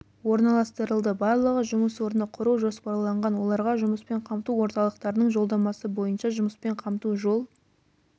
орналастырылды барлығы жұмыс орны құру жоспарланған оларға жұмыспен қамту орталықтарының жолдамасы бойынша жұмыспен қамту жол